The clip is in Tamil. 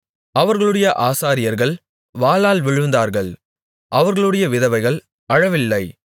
அவர்களுடைய ஆசாரியர்கள் வாளால் விழுந்தார்கள் அவர்களுடைய விதவைகள் அழவில்லை